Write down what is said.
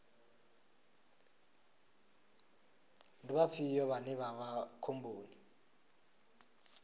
ndi vhafhio vhane vha vha khomboni